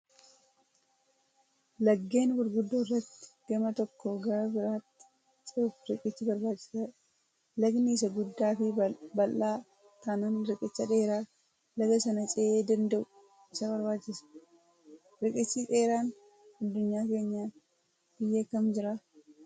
Laggeen gurguddoo irratti gama tokkoo gara biraatti cehuuf riqichi barbaachisaadha. Lagni isaa guddaa fi bal'aa taanaan riqicha dheeraa laga sana c'ee danda'u isa barbaachisa. Riqichi dheeraan addunyaa keenyaa biyya kam jiraa?